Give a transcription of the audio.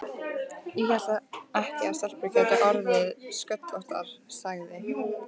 Ég hélt ekki að stelpur gætu orðið sköllóttar, sagði